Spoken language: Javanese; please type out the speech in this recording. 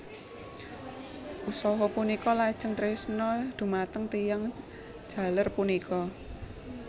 Usha punika lajeng tresna dhumateng tiyang jaler punika